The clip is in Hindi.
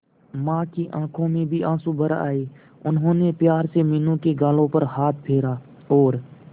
मां की आंखों में भी आंसू भर आए उन्होंने प्यार से मीनू के गालों पर हाथ फेरा और